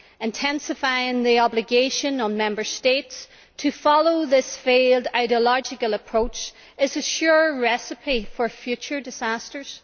Intensifying the obligation on Member States to follow this failed ideological approach is a sure recipe for future disasters.